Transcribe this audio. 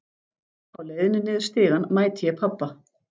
Á leiðinni niður stigann mæti ég pabba.